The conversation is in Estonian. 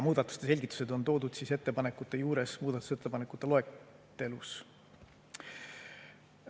Muudatuste selgitused on toodud ettepanekute juures muudatusettepanekute loetelus.